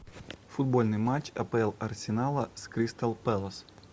футбольный матч апл арсенала с кристал пэлас